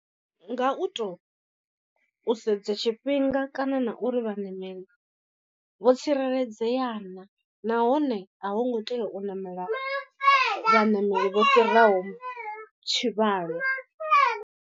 Nga u to u sedza tshifhinga kana na uri vhaṋameli vho tsireledzea naa nahone a hu ngo tea u ṋamela vhaṋameli vho fhiraho tshivhalo.